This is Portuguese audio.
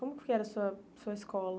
Como que era a sua sua escola?